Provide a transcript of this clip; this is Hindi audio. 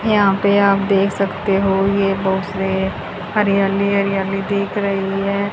यहां पे आप देख सकते हो ये बहुत से हरियाली हरियाली दिख रही है।